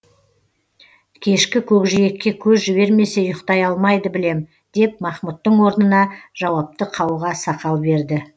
кешкі көкжиекке көз жібермесе ұйықтай алмайды білем деп махмұттың орнына жауапты қауға сақал берді